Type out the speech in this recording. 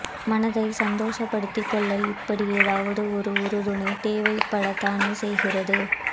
மனதை சந்தோஷப்படுத்திக் கொள்ள இப்படி ஏதாவது ஒரு உறுதுணை தேவைப்படத்தானே செய்கிறது